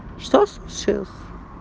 что случилось